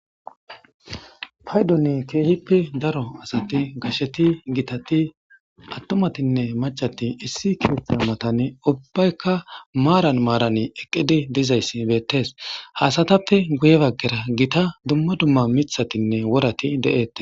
Paydoni keehippe daro asati gasheti gitati attomatinne macati issi kiyophha matane ubbaykka maaran maarani eqqidi dizayssi beettes haasatappe guye baggera gita dumma dumma mithatinne worati de7ette.